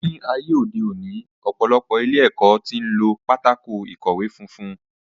Ní ayé òde òní, ọ̀pọ̀lọpọ̀ ilé ẹ̀kọ́ tí ń lo pátákó ìkọ̀wẹ́ funfun